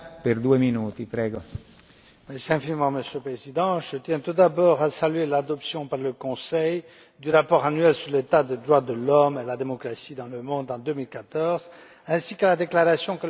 Monsieur le Président, je tiens tout d'abord à saluer l'adoption par le Conseil du rapport annuel sur l'état des droits de l'homme et de la démocratie dans le monde en 2014, ainsi que la déclaration que le commissaire Hahn vient de faire.